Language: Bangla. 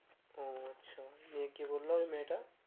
ও আচ্ছা নিয়ে কি বলল মেয়েটা?